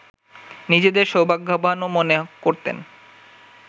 নিজেদের সৌভাগ্যবানও মনে করতেন